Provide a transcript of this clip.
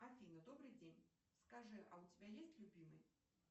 афина добрый день скажи а у тебя есть любимый